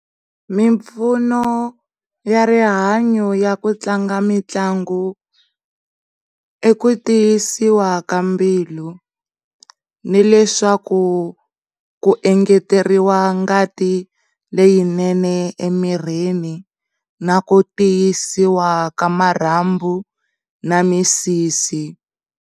Mimpfuno ya rihanyo ya ku tlanga mitlangu i ku tiyisiwa ka mbilu ni leswaku ku engeteriwa ngati leyinene emirini na ku tiyisiwa ka marhambu na misisi.